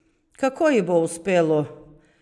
Kako ji bo uspelo?